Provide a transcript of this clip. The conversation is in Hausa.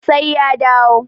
sai ya dawo